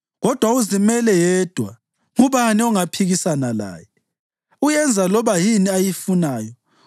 Kodwa uzimele yedwa, ngubani ongaphikisana laye na? Uyenza loba yini ayifunayo.